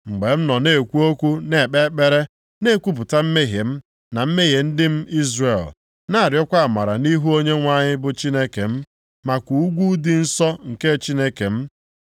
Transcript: Mgbe m nọ na-ekwu okwu na-ekpe ekpere, na-ekwupụta mmehie m na mmehie ndị m Izrel, na-arịọkwa amara nʼihu Onyenwe anyị bụ Chineke m maka ugwu dị nsọ nke Chineke m,